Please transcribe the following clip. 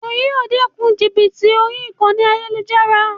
Wo yíì o dékun jìbìtì orí ayélujára